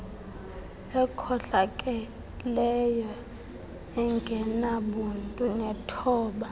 ekhohlakeleyo engenabuntu nethoba